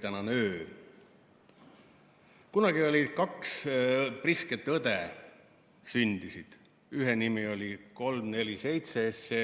Kunagi sündisid kaks prisket õde, ühe nimi oli 347 SE